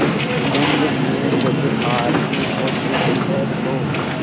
सुगंध में जब आरती होती है तो